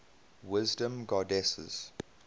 wisdom goddesses